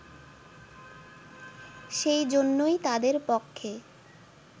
সেইজন্যই তাদের পক্ষে